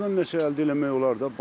Ordansa əldə eləmək olar da.